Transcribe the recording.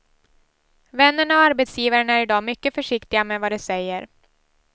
Vännerna och arbetsgivaren är i dag mycket försiktiga med vad de säger.